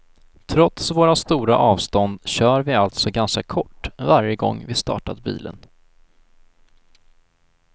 Trots våra stora avstånd kör vi alltså ganska kort varje gång vi startat bilen.